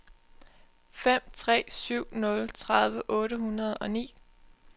fem tre syv nul tredive otte hundrede og ni